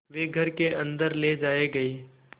वे घर के अन्दर ले जाए गए